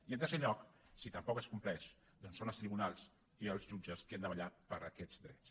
i en tercer lloc si tampoc es compleix doncs són els tribunals i els jutges els que han de vetllar per aquests drets